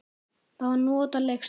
Það var notaleg stund.